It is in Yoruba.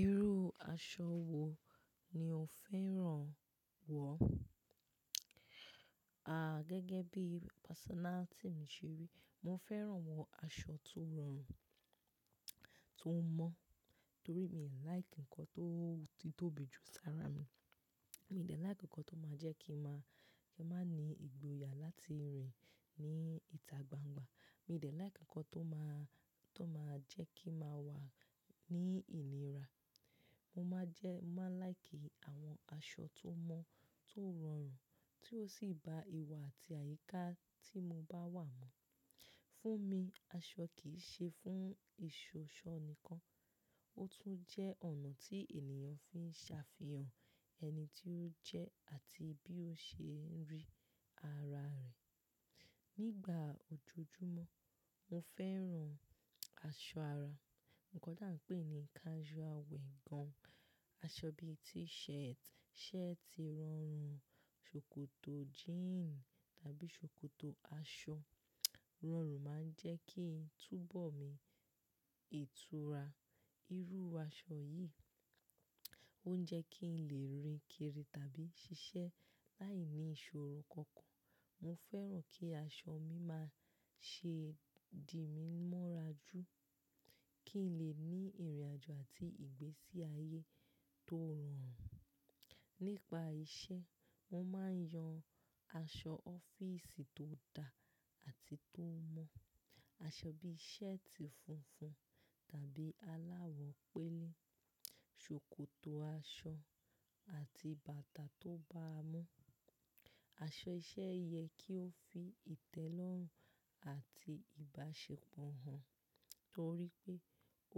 Irú aṣọ wo ni o fẹ́ràn wọ̀? A, gẹ́gẹ́ bí personality mi ṣe rí, mo fẹ́ràn wọ aṣọ tó rọrùn, tó mọ́, torí mi ò like nǹkan tó títóbi jù sára mi. Mi ò dẹ̀ like nǹkan tó máa jẹ́ kí màá, kí màá ní ìgboyà láti rìn ní ìta gbangba. Mi ò dẹ̀ like nǹkan tó máa, tó máa jẹ́ kí màá wà ní ìnira. Mo máa jẹ́, màá like àwọn aṣọ tó mọ́, tó rọrùn tí ó sì ba ìwà àti àyíká tí mo bá wà mu. Fún mi, aṣọ kì í ṣe fún ìṣoṣo nìkan, ó tún jẹ́ ọ̀nà tí ènìyàn fi ń ṣàfihàn ẹni tí ó jẹ́ àti bí ó ṣe ń rí ara rẹ̀. Nígbà ojoojúmọ́, mo fẹ́ràn aṣọ ara, nǹkan tí à ń pè ní casual wear gan-an. Aṣọ bíi t-shirt, shirt ọrùn, ṣòkòtò jeans tàbí ṣòkòtò aṣọ rọrùn máa ń jẹ́ kí túbọ̀ mi ìtura. Irú aṣọ yìí ó ń jẹ́ kí n lè rin kiri tàbí ṣiṣẹ́ láìní ìṣòro kankan. Mo fẹ́ràn kí aṣọ mi máa ṣe di mí mọ́ra jù, kí n lè ní ìrìnàjò àti ìgbésí ayé tó rọrùn. Nípa iṣẹ́, mo máa ń yan aṣọ ọ́fíìsì tó dá àti tó mọ́. Aṣọ bíi shirt funfun tàbí aláwọ̀ pélé, ṣòkòtò aṣọ àti bàtà tó bá a mọ́. Aṣọ iṣẹ́ yẹ kí ó fi ìtẹ́lọ́rùn àti ìbáṣepọ̀ hàn, torí pé